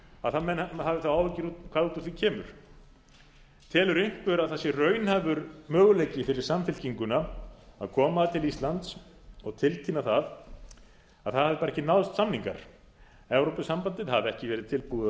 að menn hafi þá áhyggjur af hvað út úr því kemur telur einhver að það sé raunhæfur möguleiki fyrir samfylkinguna að koma til íslands og tilkynna að það hafi bara ekki náðst samningar evrópusambandið hafi ekki verið tilbúið